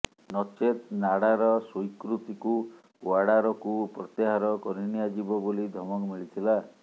ନଚେତ୍ ନାଡାର ସ୍ୱୀକୃତିକୁ ଓ୍ବାଡାରକୁ ପ୍ରତ୍ୟାହାର କରିନିଆଯିବ ବୋଲି ଧମକ ମିଳିଥିଲା